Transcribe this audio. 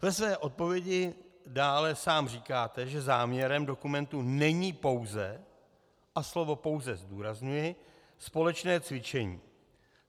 Ve své odpovědi dále sám říkáte, že záměrem dokumentu není pouze - a slovo pouze zdůrazňuji - společné cvičení.